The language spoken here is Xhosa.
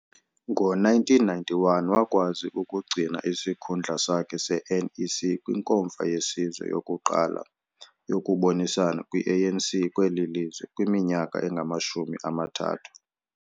Ngo-1991, wakwazi ukugcina isikhundla sakhe se-NEC kwiNkomfa yeSizwe yokuqala yokubonisana kwi-ANC kweli lizwe kwiminyaka engamashumi amathathu.